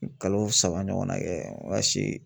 Kalo saba ɲɔgɔnna kɛ me ka si